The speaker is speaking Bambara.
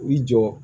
I jɔ